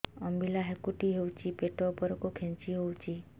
ଅମ୍ବିଳା ହେକୁଟୀ ହେଉଛି ପେଟ ଉପରକୁ ଖେଞ୍ଚି ହଉଚି